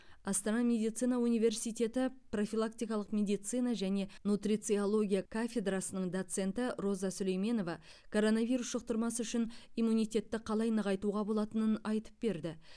астана медицина университеті профилактикалық медицина және нутрициология кафедрасының доценті роза сүлейменова коронавирус жұқтырмас үшін иммунитетті қалай нығайтуға болатынын айтып берді